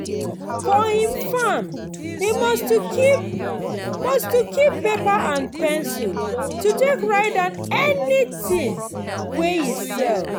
for him farm e must to keep must to keep paper and pencil to take write down anything wey e sell.